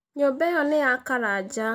Nyũmba ĩyo nĩ ya Karanja.